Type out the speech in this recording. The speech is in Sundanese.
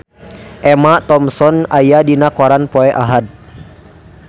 Emma Thompson aya dina koran poe Ahad